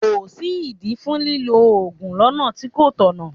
Kò sí ìdí fún lílọ Ògùn lọ́nà tí kò tọ̀nà.